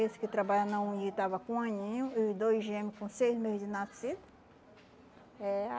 Esse que trabalha na estava com um aninho e os dois gêmeo com seis meses de nascido, é.